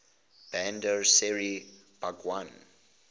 bandar seri begawan